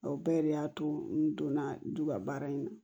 O bɛɛ de y'a to n donna du ka baara in na